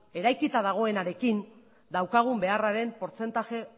eraikita dagoenarekin daukagun beharraren portzentaje